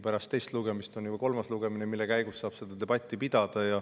Pärast teist lugemist on isegi kolmas lugemine, mille käigus saab debatti pidada.